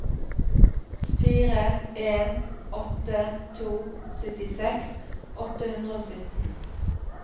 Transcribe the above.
fire en åtte to syttiseks åtte hundre og sytten